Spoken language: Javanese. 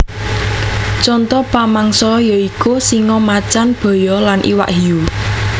Conto pamangsa ya iku singa macan baya lan iwak hiu